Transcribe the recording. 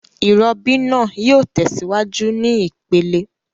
Ìrobí naa yio tèsíwájú ní ìpele